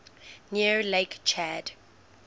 near lake chad